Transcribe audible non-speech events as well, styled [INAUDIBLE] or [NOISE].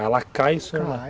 Ela cai [UNINTELLIGIBLE] cai